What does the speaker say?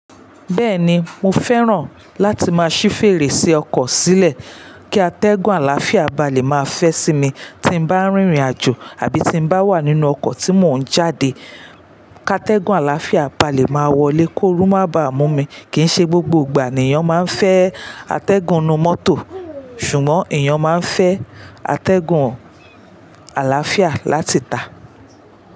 Bẹ́ẹ̀ ni, mo fẹ́ràn láti máa ṣí fèrèsé ọkọ̀ sílẹ̀ kí atẹ́gùn àlàáfíà ba lè máa fẹ́ sí mi tí bá ń rìnrìn àjò àbí tí bá wà nínú ọkọ̀ tí mò ń jáde. Ka tẹ́gùn àlàáfíà ba lè máa wọlé kó ooru má ba mú mi. Kì í ṣe gbogbo ìgbà ni èèyàn máa ń fẹ́ atẹ́gùn inú mọ́tò, ṣùgbọ́n èèyàn máa ń fẹ́ atẹ́gùn àlàáfíà láti tà.